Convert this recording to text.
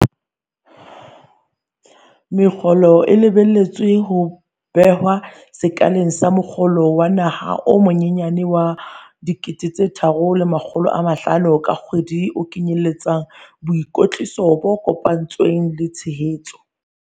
Mokgolo o lebelletswe ho behwa sekaleng sa mokgolo wa naha o monyenyane wa R3 500 ka kgwedi o kenyelletsang boikwetliso bo kopanetsweng le tshehetso.